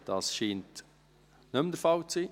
– Das scheint nicht der Fall zu sein.